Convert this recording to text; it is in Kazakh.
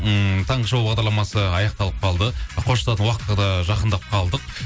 ммм таңғы шоу бағдарламасы аяқталып қалды қоштасатын уақытқа да жақындап қалдық